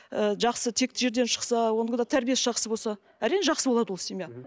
ыжақсы текті жерден шықса онікі де тәрбиесі жақсы болса әрине жақсы болады ол семья